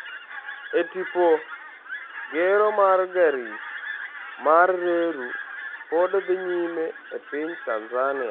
E tipo: Gero mar gari mar reru pod dhi nyime e piny Tanzania